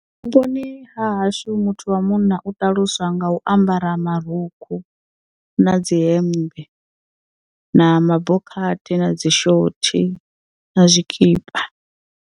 Vhuponi ha hashu muthu wa munna u ṱaluswa nga u ambara marukhu na dzi hemmbe na mabokhathi na dzi shothi na zwikipa.